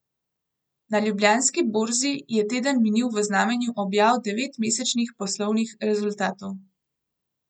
Na Ljubljanski borzi je teden minil v znamenju objav devetmesečnih poslovnih rezultatov.